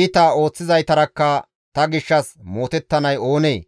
Iita ooththizaytarakka ta gishshas mootettanay oonee?